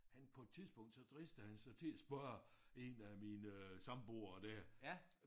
Han på et tidspunkt så dristede han sig til at spørge 1 af mine samboere der